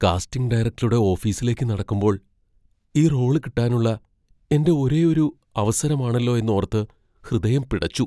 Casting ഡയറക്ടറുടെ ഓഫീസിലേക്ക് നടക്കുമ്പോൾ, ഈ റോള് കിട്ടാനുള്ള എന്റെ ഒരേയൊരു അവസരമാണല്ലോ എന്നോർത്ത് ഹൃദയം പിടച്ചു.